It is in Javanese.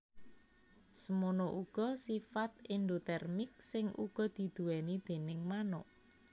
Semono uga sifat endotermik sing uga diduwéni déning manuk